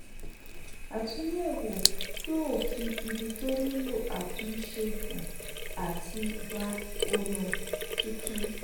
àtúnyẹ̀wò yóò fi ibi tó nílò àtúnṣe hàn àti gba ònà tuntun.